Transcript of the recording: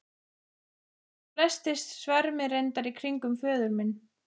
Þótt flestir svermi reyndar í kringum föður minn.